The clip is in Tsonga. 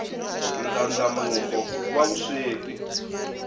ndlandlamuko wa vusweti